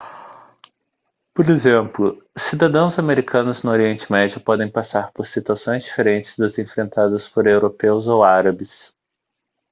por exemplo cidadãos americanos no oriente médio podem passar por situações diferentes das enfrentadas por europeus ou árabes